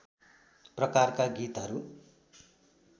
प्रकारका गीतहरू